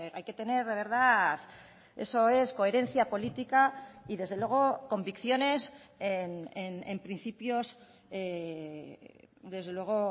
hay que tener de verdad eso es coherencia política y desde luego convicciones en principios desde luego